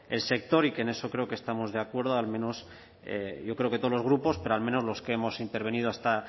el sector y que en eso creo que estamos de acuerdo yo creo que todos los grupos pero al menos los que hemos intervenido